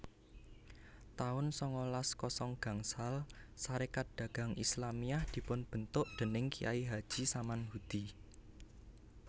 taun sangalas kosong gangsal Sarékat Dagang Islamiyah dipunbentuk déning Kyai Haji Samanhudi